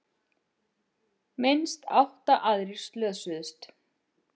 Minnst átta aðrir slösuðust